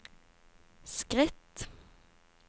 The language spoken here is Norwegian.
skritt